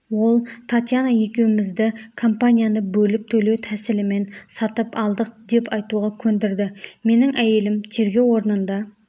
ол татьяна екеумізді компанияны бөліп төлеу тәсілімен сатып алдық деп айтуға көндірді менің әйелім тергеу орнында